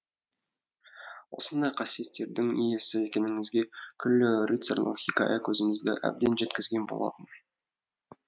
осындай қасиеттердің иесі екеніңізге күллі рыцарьлық хикая көзімізді әбден жеткізген болатын